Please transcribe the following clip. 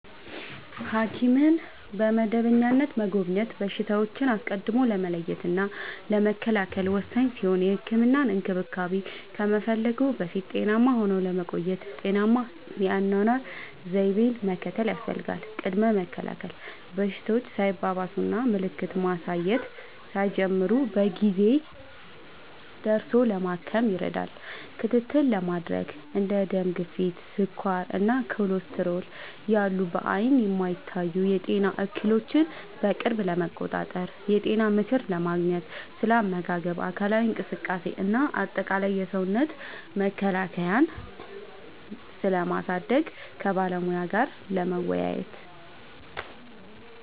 ሐኪምን በመደበኛነት መጎብኘት በሽታዎችን አስቀድሞ ለመለየትና ለመከላከል ወሳኝ ሲሆን፥ የህክምና እንክብካቤ ከመፈለግዎ በፊት ጤናማ ሆነው ለመቆየት ጤናማ የአኗኗር ዘይቤን መከተል ያስፈልጋል። ቅድመ መከላከል፦ በሽታዎች ሳይባባሱና ምልክት ማሳየት ሳይጀምሩ በጊዜ ደርሶ ለማከም ይረዳል። ክትትል ለማድረግ፦ እንደ ደም ግፊት፣ ስኳር እና ኮሌስትሮል ያሉ በዓይን የማይታዩ የጤና እክሎችን በቅርብ ለመቆጣጠር። የጤና ምክር ለማግኘት፦ ስለ አመጋገብ፣ አካላዊ እንቅስቃሴ እና አጠቃላይ የሰውነት መከላከያን ስለማሳደግ ከባለሙያ ጋር ለመወያየት።